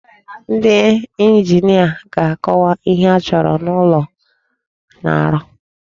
Ndị njinia ga-akọwa ihe achọrọ n'ụlọ a na-arụ.